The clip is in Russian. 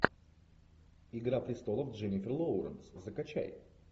игра престолов дженнифер лоуренс закачай